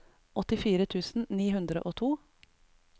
åttifire tusen ni hundre og to